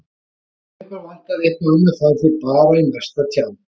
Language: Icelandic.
Og ef ykkur vantar eitthvað annað farið þið bara í næsta tjald